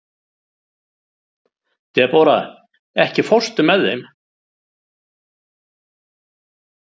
Debóra, ekki fórstu með þeim?